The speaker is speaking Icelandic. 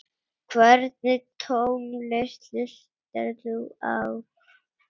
Hvernig tónlist hlustar þú á?